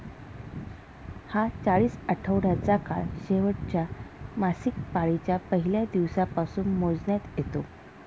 हा चाळीस आठवड्याचा काळ शेवटच्या मासिकपाळीच्या पहिल्या दिवसापासून मोजण्यात येतो